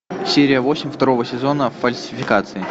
серия восемь второго сезона фальсификации